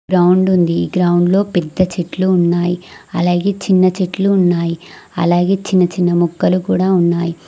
Ground ఉంది ఈ గ్రౌండ్లో పెద్ద చెట్లు ఉన్నాయి అలాగే చిన్న చెట్లు ఉన్నాయి అలాగే చిన్న చిన్న మొక్కలు కూడా ఉన్నాయ్.